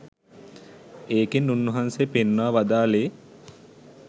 ඒකෙන් උන්වහන්සේ පෙන්වා වදාළේ